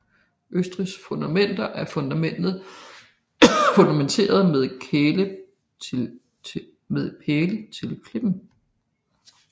Øvrige fundamenter er fundamentet med pæle til klippen